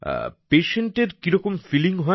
Patientএর কি রকম ফিলিং হয়